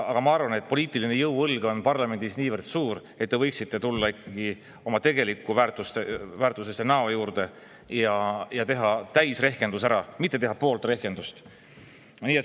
Aga ma arvan, et poliitiline jõuõlg on parlamendis niivõrd suur, et te võiksite tulla ikkagi oma tegelike väärtuste, oma näo juurde ja teha täisrehkendus ära, mitte teha pool rehkendust.